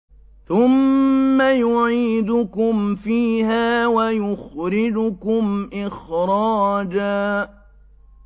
ثُمَّ يُعِيدُكُمْ فِيهَا وَيُخْرِجُكُمْ إِخْرَاجًا